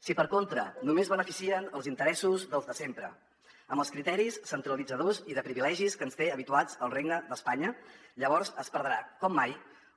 si per contra només beneficien els interessos dels de sempre amb els criteris centralitzadors i de privilegis a què ens té habituats el regne d’espanya llavors es perdrà com mai